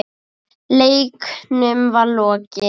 Leiknum var lokið.